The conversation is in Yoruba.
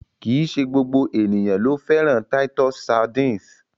Kìí ṣe gbogbo ènìyàn ló fẹ́ràn titus sardines.